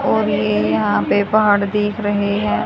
और ये यहां पे पहाड़ दिख रहे हैं।